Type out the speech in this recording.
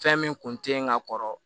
Fɛn min kun teyi n ka kɔrɔ